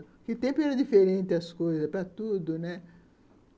Naquele tempo, era diferente as coisas, para tudo, né?